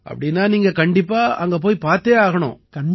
அப்படீன்னா நீங்க கண்டிப்பா அங்க போய் பார்த்தே ஆகணும்